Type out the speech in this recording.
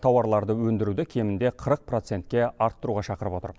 тауарларды өндіруді кемінде қырық процентке арттыруға шақырып отыр